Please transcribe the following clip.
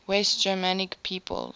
west germanic peoples